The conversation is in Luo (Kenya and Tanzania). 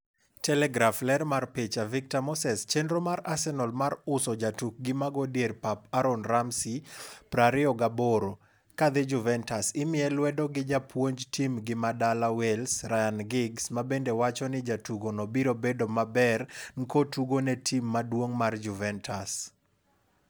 (Telegraph) Ler mar picha, Victor Moseschenro mar Arsenal mar uso jatukgi mago dier pap Aaron Ramsey, 28, kadhi Juventus imiye lwedo gi japuonj tim gi madala Wales, Ryan Giggs, mabende wacho ni jatugono biro medo bedo maber nkotugo ne tim maduong' mar Juventus.